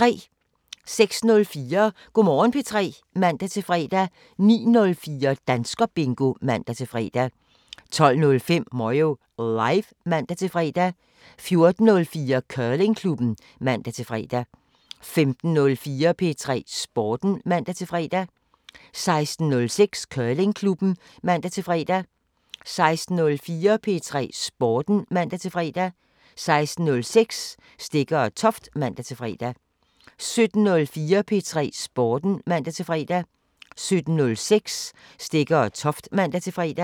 06:04: Go' Morgen P3 (man-fre) 09:04: Danskerbingo (man-fre) 12:05: Moyo Live (man-fre) 14:04: Curlingklubben (man-fre) 15:04: P3 Sporten (man-fre) 15:06: Curlingklubben (man-fre) 16:04: P3 Sporten (man-fre) 16:06: Stegger & Toft (man-fre) 17:04: P3 Sporten (man-fre) 17:06: Stegger & Toft (man-fre)